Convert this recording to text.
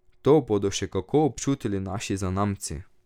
To bodo še kako občutili naši zanamci!